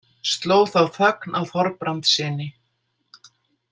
Sló þá þögn á Þorbrandssyni.